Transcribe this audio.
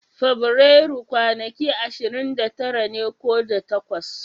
Fabrairu kwanaki ashirin da tara ne ko da takwas.